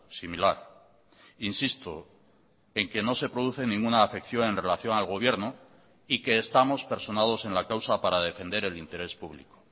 similar insisto en que no se produce ninguna afección en relación al gobierno y que estamos personados en la causa para defender el interés público